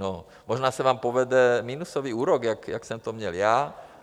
No možná se vám povede minusový úrok, jak jsem to měl já.